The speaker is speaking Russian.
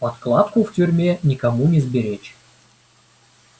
подкладку в тюрьме никому не сберечь